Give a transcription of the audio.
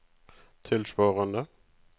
tilsvarende